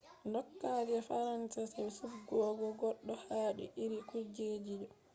doka je faransa je subtugo goddo hadi iri kujeji do